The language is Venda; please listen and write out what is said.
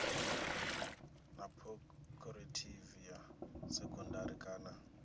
ḽa khophorethivi ya sekondari kana